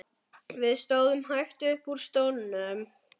Við stóðum hægt upp úr stólunum.